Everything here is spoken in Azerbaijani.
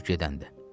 Nə olur gedəndə?